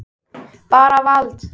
Bara vald.